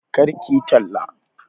Kar kiyi talla